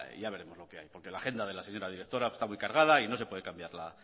ya veremos lo que hay porque la agenda de la señora directora está muy cargada y no se puede cambiar